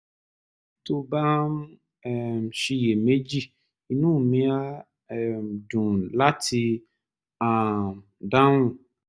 tó o bá ń um ṣiyèméjì inú mi á um dùn láti um dáhùn